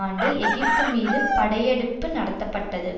ஆண்டு எகிப்து மீது படையெடுப்பு நடத்தப்பட்டது